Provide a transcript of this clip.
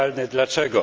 Dlaczego?